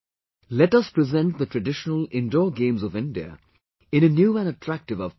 Let us present the traditional Indoor Games of India in a new and attractive avatar